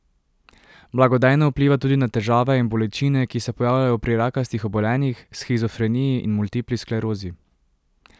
Blagodejno vpliva tudi na težave in bolečine, ki se pojavljajo pri rakastih obolenjih, shizofreniji in multipli sklerozi.